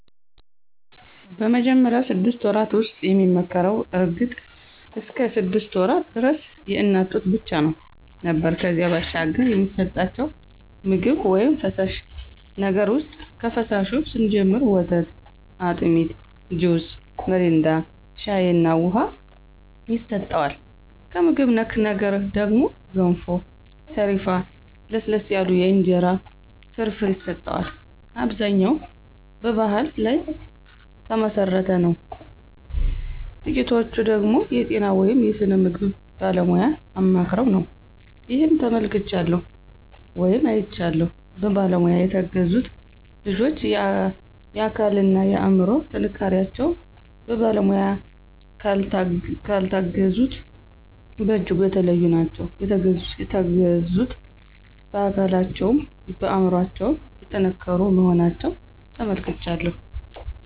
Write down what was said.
በመጀመሪያው ስድስት ወራት ውስጥ የሚመከረው እርግጥ እስከ ሰድስት ወራት ደረስ የእናት ጡት ብቻ ነው ነበር ከዚያ ባሻገር የሚሰጠቸው ምግብ ውይም ፈሳሽ ነገር ውሰጥ ከፈሳሹ ስንጀምር ወተት፣ አጢሚት፣ ጁስ ሚሪንዳ፣ ሻይ እና ውሃ ይሰጠዋል። ከምግብ ነክ ነገር ደግሞ ገንፎ፣ ሰሪፍ፣ ለስለስ ያሉ የእንጀራ ፍርፍር ይሰጠዋል። አብዛኛው በባሕል ላይ ተመሠረተ ነው ጥቂቶቹ ደገሞ የጤና ወይም የስነ ምግብ ባለሙያ አማክረው ነው። ይህን ተመልክቻለሁ ወይም አይቻለሁም። በባለሙያ የተገዙት ልጆች የአካል እና የአምሮ ጥንካሪቸው በባለሙያ ካልታገዙት በጅጉ የተለዩ ናቸው። የተገዙት በአካለቸውም በአምሮቸው የጠንከሩ መሆናቸውን ተመልክቻለሁ።